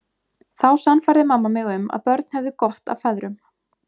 Þá sannfærði mamma mig um að börn hefðu gott af feðrum.